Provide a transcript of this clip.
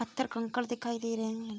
पत्थर-कंकड़ दिखाई दे रहे हैं।